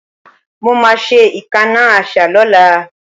Mo ma ṣe ìkánná àṣá lọ́la